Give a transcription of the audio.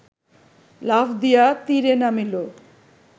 লাফ দিয়া তীরে নামিল